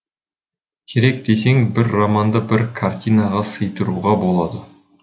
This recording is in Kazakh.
керек десең бір романды бір картинаға сыйдыруға болады